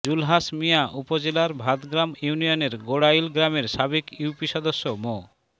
জুলহাস মিয়া উপজেলার ভাতগ্রাম ইউনিয়নের গোড়াইল গ্রামের সাবেক ইউপি সদস্য মো